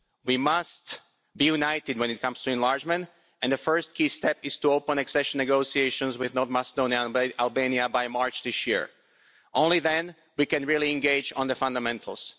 We must be united when it comes to enlargement, and the first key step is to open accession negotiations with North Macedonia and Albania by March this year. Only then can we really engage on the fundamentals.